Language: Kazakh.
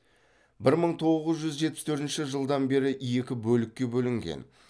бір мың тоғыз жүз жетпіс төртінші жылдан бері екі бөлікке бөлінген